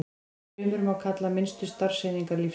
Frumur má kalla minnstu starfseiningar lífsins.